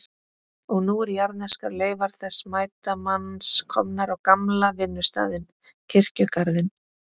Og nú eru jarðneskar leifar þessa mæta manns komnar á gamla vinnustaðinn, kirkjugarðinn.